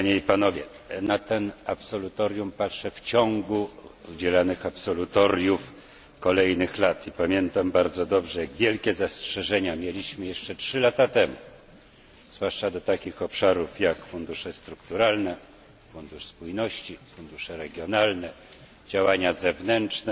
Na to absolutorium patrzę jako na jedno w szeregu udzielanych absolutoriów kolejnych lat i pamiętam bardzo dobrze jak wielkie zastrzeżenia mieliśmy jeszcze 3 lata temu, zwłaszcza do takich obszarów jak fundusze strukturalne, Fundusz Spójności, fundusze regionalne, działania zewnętrzne.